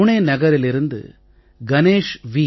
புனே நகரிலிருந்து கணேஷ் வி